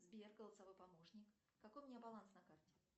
сбер голосовой помощник какой у меня баланс на карте